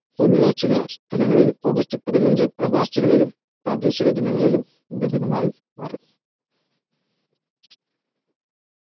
പോലുള്ള ചില സ്ഥലങ്ങളിൽ ഓഗസ്റ്റ് പതിനഞ്ചിന്‌ പ്രവാസികളിലും പ്രാദേശിക ജനങ്ങളിലും ഇന്ത്യ ദിനമായി മാറി.